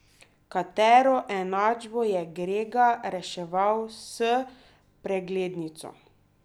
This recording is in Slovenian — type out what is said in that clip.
Katero enačbo je Grega reševal s preglednico?